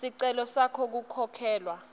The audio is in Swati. sicelo sakho sekukhokhelwa